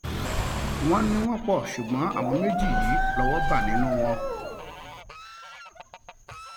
wọn ní wọn pọ ṣùgbọn àwọn méjì yìí lọwọ bá nínú wọn